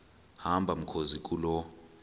hamba mkhozi kuloo